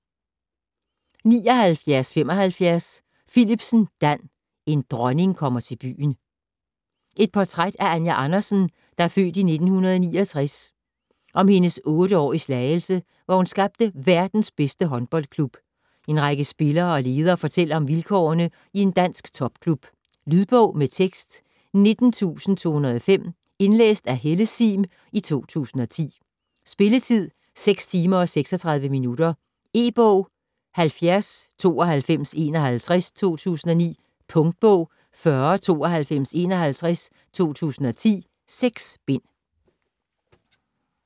79.75 Philipsen, Dan: En dronning kom til byen Et portræt af Anja Andersen (f. 1969), om hendes otte år i Slagelse, hvor hun skabte verdens bedste håndboldhold. En række spillere og ledere fortæller om vilkårene i en dansk topklub. Lydbog med tekst 19205 Indlæst af Helle Sihm, 2010. Spilletid: 6 timer, 36 minutter. E-bog 709251 2009. Punktbog 409251 2010. 6 bind.